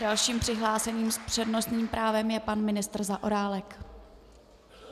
Dalším přihlášeným s přednostním právem je pan ministr Zaorálek.